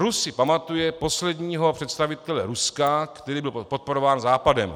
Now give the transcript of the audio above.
Rus si pamatuje posledního představitele Ruska, který byl podporován Západem.